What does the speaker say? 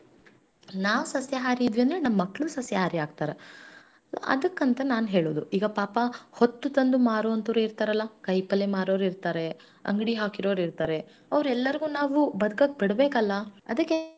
ನಾನ್ ಹೇಳೋದು ನನ್ನ ಮನಸ್ಸಿನ ಅನಿಸಿಕೆಗಳು ಈ ತರಾ ಇರತಾವ್ರಿ ಅದಕ್ಕ ನಾ ನಮ್ಮ ಹುಬ್ಬಳ್ಳಿ ಜನಕ್ಕ ಹೇಳುದಿಷ್ಟ ರೀ ನಂಗೊತ್ತದ ನಮ್ ಹುಬ್ಬಳ್ಯಾಗ ಜಾಸ್ತಿ ಜನ ಸಸ್ಯಹಾರಿನ ಅದಾರ ನಾವು ನಮ್ಮ ರೈತರಿಗೆ ಏನು ಪ್ರೋತ್ಸಹ ಮಾಡುದರಿಂದ ಜಾಸ್ತಿ